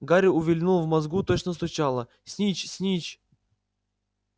гарри увильнул в мозгу точно стучало снитч снитч